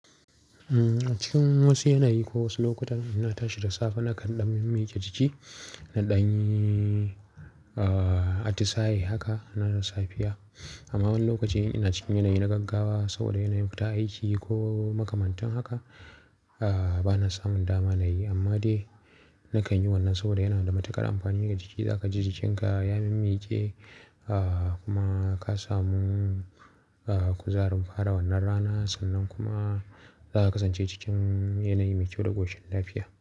Cikin wasu yanayi ko wasu lokutan ina tashi da safe nakan ɗan yin miƙe jiki na ɗan atisaye haka na da lafiya. Amma wani lokaci ina cikin yanayi na gaggawa saboda yanayin fita aiki ko makamantan haka ah bana samun dama na yi. Amma dai nakan yi wannan saboda yana da matuƙar amfani ga jiki. Za ka ji jikinka ya min miƙe kuma ka samu kuzarin fara wannan rana sannan kuma za ka kasance cikin yanayi mai kyau da ƙoshin lafiya.